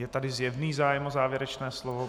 Je tady zjevný zájem o závěrečné slovo.